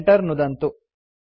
enter नुदन्तु